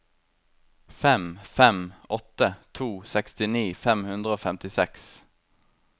fem fem åtte to sekstini fem hundre og femtiseks